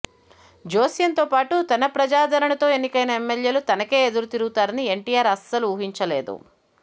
జోస్యంతో పాటు తన ప్రజాదరణతో ఎన్నికైన ఎమ్మెల్యేలు తనకే ఎదురుతిరుగుతారని ఎన్టీఆర్ అసలు ఊహించలేదు